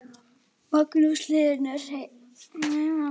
Hróðólfur, hringdu í Hildegard eftir sextíu og fimm mínútur.